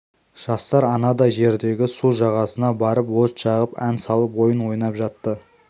жастар анадай жердегі су жағасына барып от жағып ән салып ойын ойнап жатты